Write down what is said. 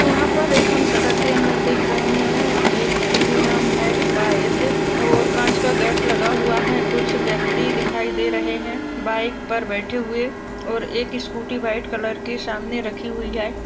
यहा पर एक हम सेटर के अंदर देख रहे है ए टी एम है सायद और कांच का गेट लगा हुआ है कुछ व्यक्ति दिखाई दे रहे है बाइक पर बैठे हुए और एक स्कूटी व्हाइट कलर की सामने रखी हुई है।